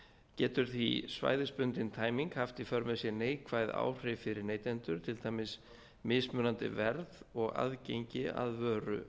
getur því svæðisbundin tæming haft í för með sér neikvæð áhrif fyrir neytendur til dæmis mismunandi verð og aðgengi á vöru